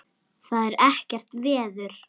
Það er ekkert veður.